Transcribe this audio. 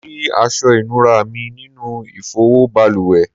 Mó rí aṣọ inura mí nínú ifowo baluwe